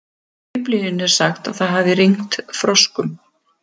Í Biblíunni er sagt að það hafi rignt froskum.